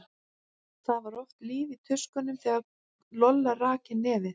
Það var oft líf í tuskunum þegar Lolla rak inn nefið.